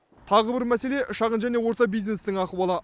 тағы бір мәселе шағын және орта бизнестің ахуалы